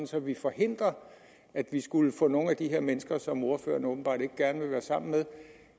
så vi forhindrer at vi skulle få nogle af de her mennesker som ordføreren åbenbart ikke gerne vil være sammen med